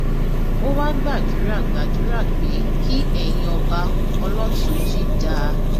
ó wáá gbàdúrà gbàdúrà pé kí ẹyin ọba ọlọtúnjì dáa